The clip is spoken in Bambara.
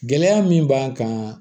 Gɛlɛya min b'an kan